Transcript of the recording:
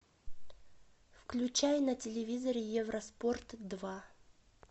включай на телевизоре евроспорт два